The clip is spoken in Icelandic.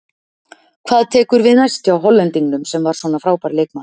Hvað tekur við næst hjá Hollendingnum sem var svo frábær leikmaður?